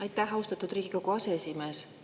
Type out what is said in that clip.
Aitäh, austatud Riigikogu aseesimees!